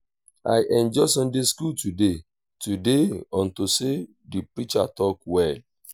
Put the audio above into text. i enjoy sunday school today today unto say the preacher talk well